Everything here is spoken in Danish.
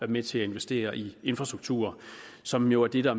med til at investere i infrastrukturer som jo er det der